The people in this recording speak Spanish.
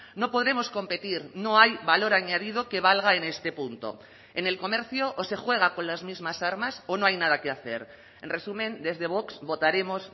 no podremos competir no hay valor añadido que valga en este punto en el comercio o se juega con las mismas armas o no hay nada que hacer en resumen desde vox votaremos